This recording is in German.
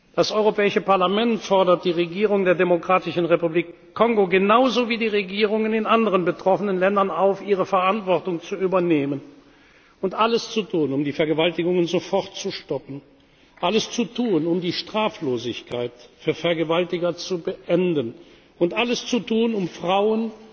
Das Europäische Parlament fordert die Regierung der Demokratischen Republik Kongo, genauso wie die Regierungen in anderen betroffenen Ländern, auf, ihre Verantwortung zu übernehmen und alles zu tun, um die Vergewaltigungen sofort zu stoppen, alles zu tun, um die Straflosigkeit für Vergewaltiger zu beenden, und alles zu tun, um